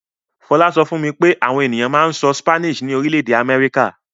Fọlá sọ fún mi pé àwọn ènìyàn máa ń sọ Spanish ní orílẹ̀-èdè Amẹ́ríkà.